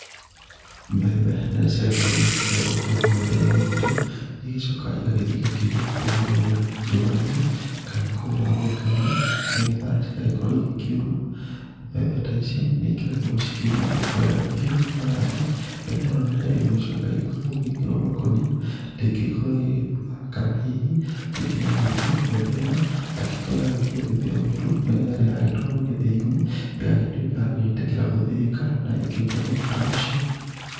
Mbembe rĩrĩa ciagĩkorwo cia igĩkĩgethwo kũrĩa mĩgũnda-inĩ itũ, nĩ igĩcokaga igagĩthiĩ igakĩigwo kũrĩa njũa-inĩ kana kũrĩa mĩgeka-inĩ nĩgetha cigagĩkorwo igĩkĩuma. Mbembe ta ici nĩ ikĩrekagwo cikĩume wega biũ nĩgetha atĩ, mbembe ĩno rĩrĩa igũgĩcoka ĩgĩgĩkĩrwo makũnia, ndĩngĩgĩkorwo igĩgĩbutha kana hihi rĩngĩ na rĩngĩ mbembe ĩno, angĩgĩkorwo ĩragĩthiĩ gũgĩthĩo mũtu rĩrĩa yagĩtwarwo gĩthĩi-inĩ, ĩgagĩtuĩka ya gwĩtĩkĩra gũthĩĩka na ĩkĩrute mũtu ta ũcio.